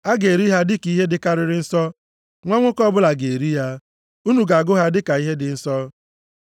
A ga-eri ha dịka ihe dịkarịrị nsọ. Nwa nwoke ọbụla ga-eri ya. Unu ga-agụ ha dịka ihe dị nsọ.